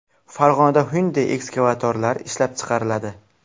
Farg‘onada Hyundai ekskavatorlari ishlab chiqariladi.